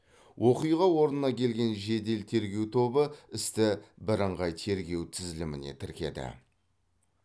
оқиға орнына келген жедел тергеу тобы істі бірыңғай тергеу тізіліміне тіркеді